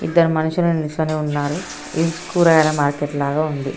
ఇద్దరు మనుసులు నిల్చొని ఉన్నారు. ఇది కూరగాయల మార్కెట్ లాగా ఉంది.